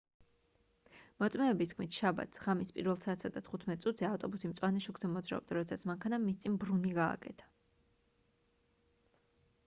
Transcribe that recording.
მოწმეების თქმით შაბათს ღამის 1:15 საათზე ავტობუსი მწვანე შუქზე მოძრაობდა როდესაც მანქანამ მის წინ ბრუნი გააკეთა